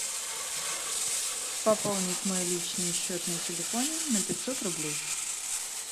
пополнить мой личный счет на телефоне на пятьсот рублей